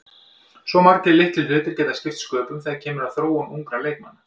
Svo margir litlir hlutir geta skipt sköpum þegar kemur að þróun ungra leikmanna.